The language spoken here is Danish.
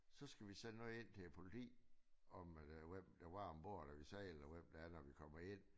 Så skal vi sende noget ind til politiet om øh hvem der var ombord når vi sejlede og hvem der er når vi kommer ind